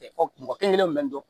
Fɔ mɔgɔ kelen kelenw kun bɛ nɔn